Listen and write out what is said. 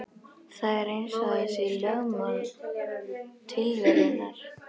Það er eins og það sé lögmál tilverunnar.